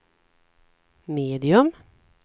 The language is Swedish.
medium